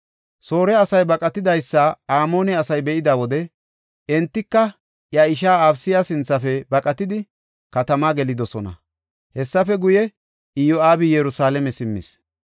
Soore asay baqatidaysa Amoone asay be7ida wode entika iya ishaa Abisaya sinthafe baqatidi katama gelidosona. Hessafe guye, Iyo7aabi Yerusalaame simmis.